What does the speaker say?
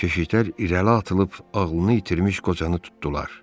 Keşiklər irəli atılıb ağlını itirmiş qocanı tutdular.